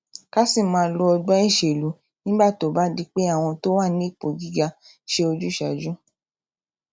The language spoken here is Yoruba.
ká sì máa lo ọgbón ìṣèlú nígbà tó bá di pé àwọn tó wà nípò gíga ń ṣe ojúsàájú